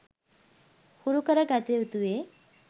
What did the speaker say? හුරුකර ගතයුතු වේ.